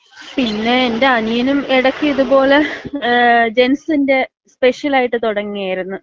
പിന്നെ എന്‍റെ അനിയനും എടയ്ക്ക് ഇത് പോല മ്മ് ജെന്റ്സിന്‍റെ സ്പെഷ്യലായിട്ട് തുടങ്ങിയാരിന്ന് .